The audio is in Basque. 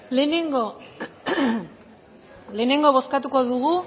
lehenengo bozkatuko dugu